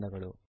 ಧನ್ಯವಾದಗಳು